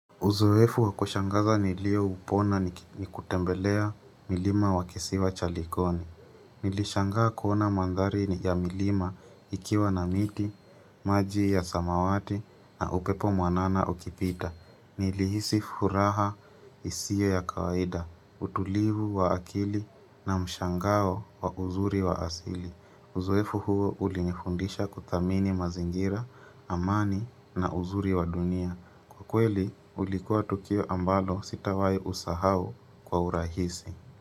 Uzoefu wakushangaza nilio upona ni kutembelea milima wakisiwa chalikoni. Nilishangaa kuona mandhari ni ya milima ikiwa na miti, maji ya samawati na upepo mwanana ukipita. Nilihisi furaha isiyo ya kawaida, utulivu wa akili na mshangao wa uzuri wa asili. Uzoefu huo ulinifundisha kuthamini mazingira, amani na uzuri wa dunia. Kweli ulikuwa tukio ambalo sitawai usahau kwa urahisi.